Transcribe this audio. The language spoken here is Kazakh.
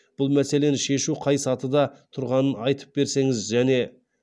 бұл мәселені шешу қай сатыда тұрғанын айтып берсеңіз және